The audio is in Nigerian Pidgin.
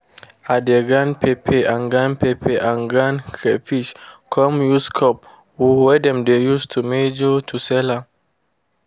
i dey grind pepper and grind pepper and crayfish come use cup wey dem dey use measure to sell am.